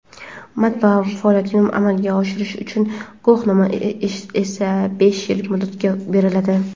matbaa faoliyatini amalga oshirish uchun guvohnoma esa besh yil muddatga beriladi.